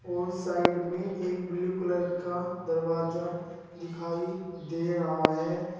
और साइड में एक ब्लू कलर का दरवाजा दिखाई दे रहा है।